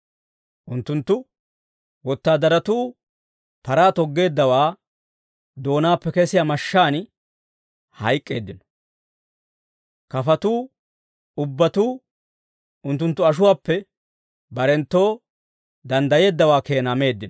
Unttunttu wotaadaratuu paraa toggeeddaawaa doonaappe kesiyaa mashshaan hayk'k'eeddino. Kafatuu ubbatuu unttunttu ashuwaappe barenttoo danddayeeddawaa keenaa meeddino.